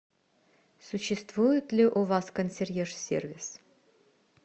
существует ли у вас консьерж сервис